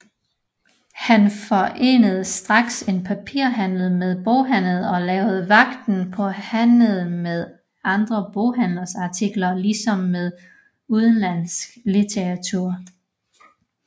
Han forenede straks en papirhandel med boghandelen og lagde vægten på handelen med andre boghandleres artikler ligesom med udenlandsk litteratur